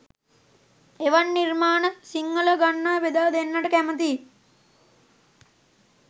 එවන් නිර්මාණ සිංහල ගන්වා බෙදා දෙන්නට කැමති